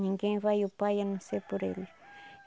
Ninguém vai ao Pai a não ser por ele.